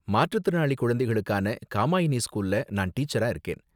மாற்றுத்திறனாளி குழந்தைகளுக்கான காமாயினி ஸ்கூல்ல நான் டீச்சரா இருக்கேன்.